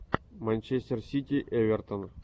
манчестер сити эвертон